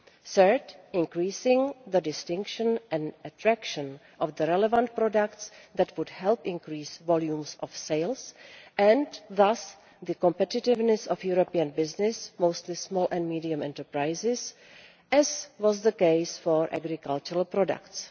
Third, increasing the distinctiveness and attraction of the relevant products would help increase sales volumes and thus the competitiveness of European businesses mostly small and medium enterprises as was the case for agricultural products.